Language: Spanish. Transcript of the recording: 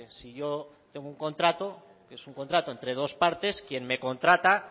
si yo tengo un contrato es un contrato entre dos partes quien me contrata